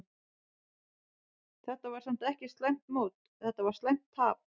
Þetta var samt ekki slæmt mót, þetta var slæmt tap.